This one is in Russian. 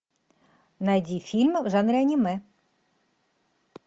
найди фильм в жанре аниме